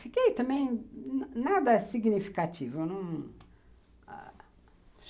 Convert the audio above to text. Fiquei também nada significativo.